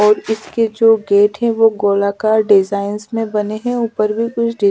और इसके जो गेट हैं वो गोलाकार डिजाइंस में बने हैं ऊपर में कुछ--